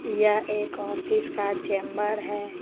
यह एक ऑफिस का चैंबर है।